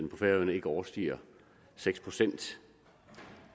på færøerne ikke overstiger seks procent